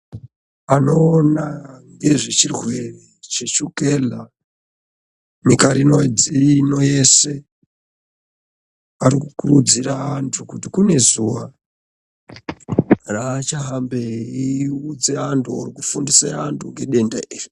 Anoona ngezvechirwere cheshukela nyika ino yese. Arikukurudzira antu kuti kune zuva raachahambe eiudze antu oro kufundisa antu ngedenda iri.